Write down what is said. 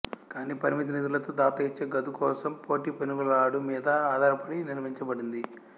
కానీ పరిమిత నిధులతో దాత ఇచ్చే గదు కోసం పోటీ పెనుగులాడు మీద ఆధారపడి నిర్మించబడింది